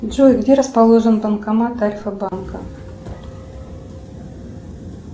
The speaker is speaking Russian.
джой где расположен банкомат альфа банка